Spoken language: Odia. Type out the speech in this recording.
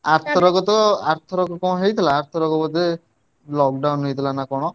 ଆରଥରକ ତ ଆରଥରକ କଣ ହେଇଥିଲା ଆରଥରକ ବୋଧେ lockdown ହେଇଥିଲା ନା କଣ?